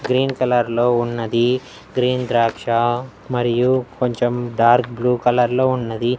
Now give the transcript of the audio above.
green కలర్లో ఉన్నది green ద్రాక్ష మరియు కొంచెం డార్క్ బ్లూ కలర్లో ఉన్నది--